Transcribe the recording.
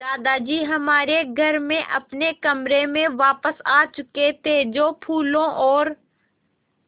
दादाजी हमारे घर में अपने कमरे में वापस आ चुके थे जो फूलों और